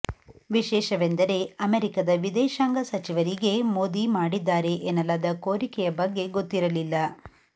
ವಿಶೇಷವೆಂದರೆ ಅಮೆರಿಕದ ವಿದೇಶಾಂಗ ಸಚಿವರಿಗೇ ಮೋದಿ ಮಾಡಿದ್ದಾರೆ ಎನ್ನಲಾದ ಕೋರಿಕೆಯ ಬಗ್ಗೆ ಗೊತ್ತಿರಲಿಲ್ಲ